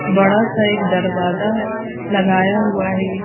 बड़ा सा एक दरवाजा लगाया हुआ है।